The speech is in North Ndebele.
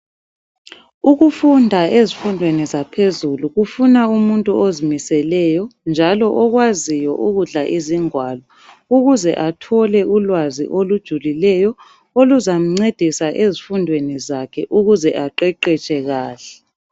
Ukufunda ezifundweni yaphezulu kufuna umuntu ozimiseleyo njalo okwaziyo ukudla izingwalo ukuze athole ulwazi olujulileyo oluzamncedisa ezifundweni zakhe ukuze aqeqetshe kuhle.